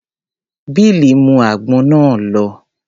Bill mú àgbọn náà lọ.